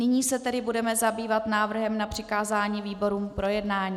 Nyní se tedy budeme zabývat návrhem na přikázání výborům k projednání.